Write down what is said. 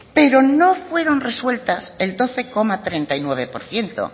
pero no fueron resueltas el doce coma treinta y nueve por ciento